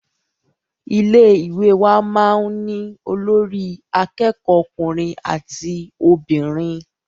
Ilé ìwé wa máà ń ní olórí àkẹ́kọ̀ọ ọkùnrin àti obìnrin.